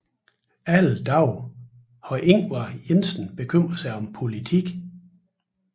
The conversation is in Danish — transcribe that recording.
Alle dage har Ingvard Jensen bekymret sig om politik